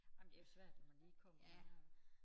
Ej men det jo svært når man lige kommer der og